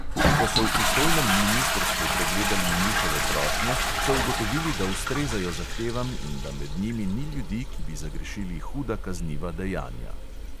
Ko so v pristojnem ministrstvu pregledali njihove prošnje, so ugotovili, da ustrezajo zahtevam in da med njimi ni ljudi, ki bi zagrešili huda kazniva dejanja.